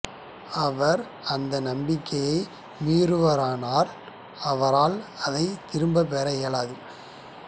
அவர் அந்த நம்பிக்கையை மீறுவாரேயானால் அவரால் அதைத் திரும்பப் பெற இயலாது